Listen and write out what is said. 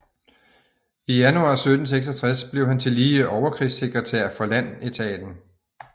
I januar 1766 blev han tillige overkrigssekretær for landetaten